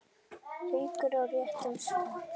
Haukur: Á réttan stað?